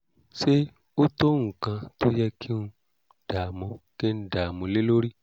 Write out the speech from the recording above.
ṣé ó tó nǹkan tó yẹ kí ń dàmú kí ń dàmú lé lórí?